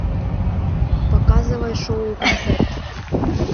показывай шоу концерт